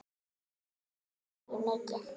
Við söknum Maju mikið.